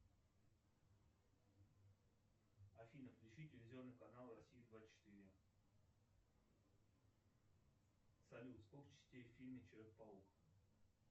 афина включи телевизионный канал россия двадцать четыре салют сколько частей в фильме человек паук